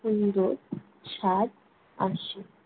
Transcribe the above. সুন্দর স্বাদ আসে।